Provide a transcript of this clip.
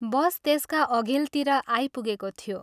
' Bus ' त्यसका अघिल्तिर आइपुगेको थियो।